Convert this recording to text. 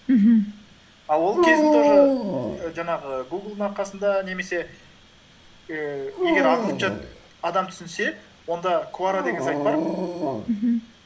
мхм ал ол кездің тоже і жаңағы гуглдың арқасында немесе ііі егер ағылшынша адам түсінсе онда куора деген сайт бар мхм